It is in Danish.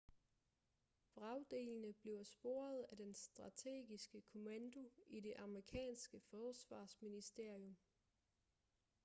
vragdelene bliver sporet af den strategiske kommando i det amerikanske forsvarsministerium